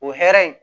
O hɛrɛ in